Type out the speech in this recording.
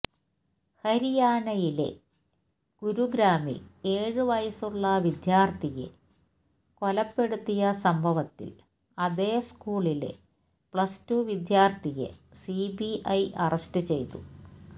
ഹരിയാണയിലെ ഗുരുഗ്രാമില് ഏഴ് വയസ്സുള്ള വിദ്യാര്ത്ഥിയെ കൊലപ്പെടുത്തിയ സംഭവത്തില് അതേ സ്കൂളിലെ പ്ലസ് ടു വിദ്യാര്ത്ഥിയെ സിബിഐ അറസ്റ്റ് ചെയ്തു